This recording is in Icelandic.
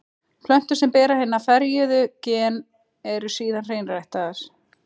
Plöntur sem bera hin ferjuðu gen eru síðan hreinræktaðar.